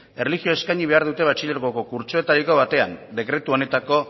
erlijioa eskaini behar dute batxilergoko kurtsoetariko batean dekretu honetako